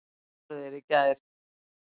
Þar voru þeir í gær.